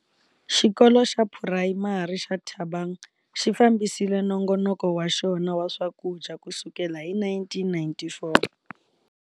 Xikolo xa Phurayimari xa Thabang xi fambisile nongonoko wa xona wa swakudya kusukela hi 1994.